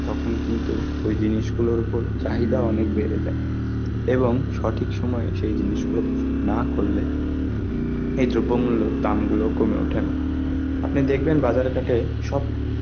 তখন কিন্তু ওই জিনিসগুলোর উপর চাহিদা অনেক বেড়ে যায়. এবং সঠিক সময় সেই জিনিসগুলো না করলে, এইয দামগুলো কমে ওঠে না. আপনি দেখবেন বাজার ঘাটে সব~